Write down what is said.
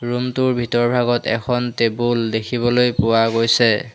Room টোৰ ভিতৰভাগত এখন টেবুল দেখিবলৈ পোৱা গৈছে।